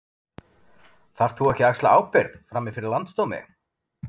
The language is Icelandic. Þarft þú ekki að axla ábyrgð, frammi fyrir Landsdómi?